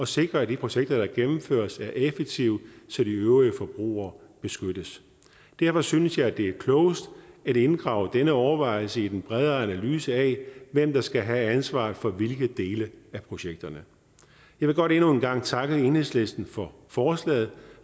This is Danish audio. sikre at de projekter der gennemføres er effektive så de øvrige forbrugere beskyttes derfor synes jeg det er klogest at inddrage denne overvejelse i den bredere analyse af hvem der skal have ansvaret for hvilke dele af projekterne jeg vil godt endnu en gang takke enhedslisten for forslaget